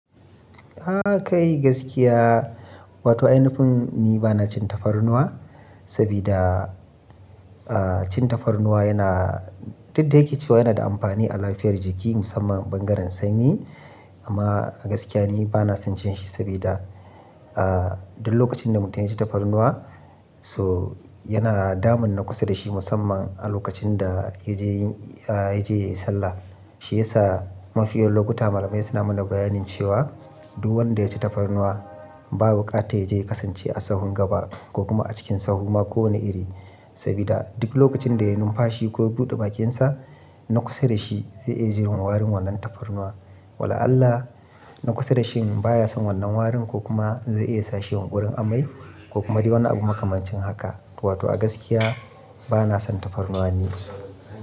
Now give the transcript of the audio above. A a kai gaskiya, wato ainifun ni ba na cin tafarnuwa sabida, ah, cin tafarnuwa yana, duk da yake cewa yana da amfani a lafiyar jiki musamman bangaren sanyi. Amma a gaskiya ni ba na son cin shi sabida, ah, duk lokacin da mutum ya ci tafarnuwa so yana damun na kusa da shi musamman a lokacin da ya je, ya je sallah. Shi yasa mafi yawan lokuta malamai suna mana bayanin cewa duk wanda ya ci tafarnuwa ba wukata ya je ya kasance a sahun gaba ko kuma a cikin sahuma ko wane iri. Sabida duk lokacin da ya yi numfashi ko ya buɗe bakinsa na kusa da shi zai iya jin warin wannan tafarnuwa. Wala Allah na kusa da shi baya son wannan warin ko kuma zai iya sashi yunƙurin amai ko kuma dai wani abu makamancin haka. To wato a gaskiya ba na son tafarnuwa ni.